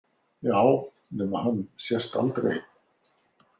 Já, nema hann sést aldrei.